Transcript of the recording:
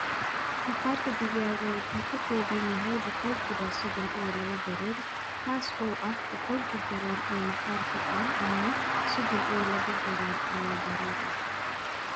"Maqaarka digaaga wuxuu ka kooban yahay boqolkiiba soddon iyo laba baruur, taas oo ah, boqolkii garaam ee maqaarka aan cunno, soddon iyo laba garaam ayaa baruur ah."